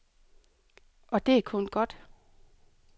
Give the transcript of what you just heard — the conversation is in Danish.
Og det er kun godt.